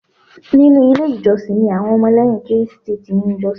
Nínú ilé ìjọsìn ni àwọn Ọmọlẹ́yìn Krístì ti n jọ́sìn